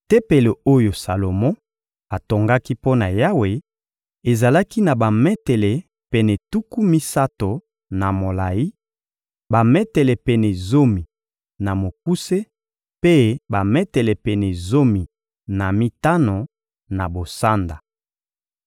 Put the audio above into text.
Tempelo oyo Salomo atongaki mpo na Yawe ezalaki na bametele pene tuku misato na molayi, bametele pene zomi na mokuse mpe bametele pene zomi na mitano na bosanda.